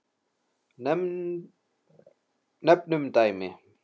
Nefnum dæmi.